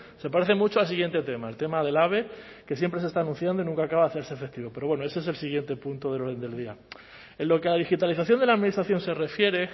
se parece mucho al siguiente tema el tema del ave que siempre se está anunciando y nunca acaba de hacerse efectivo pero bueno ese es el siguiente punto del orden del día en lo que a digitalización de la administración se refiere